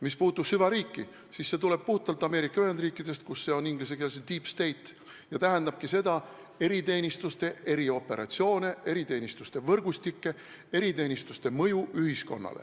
Mis puudutab süvariiki, siis see termin tuleb puhtalt Ameerika Ühendriikidest, inglise keeles on see deep state ja see tähendab eriteenistuste erioperatsioone, eriteenistuste võrgustikke, eriteenistuste mõju ühiskonnale.